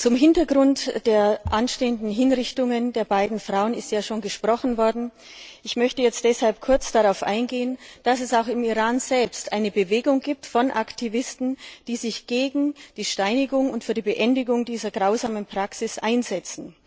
Zum Hintergrund der anstehenden Hinrichtungen der beiden Frauen ist ja schon gesprochen worden. Ich möchte jetzt deshalb kurz darauf eingehen, dass es auch im Iran selbst eine Bewegung von Aktivisten gibt, die sich gegen die Steinigung und für die Beendigung dieser grausamen Praxis einsetzt.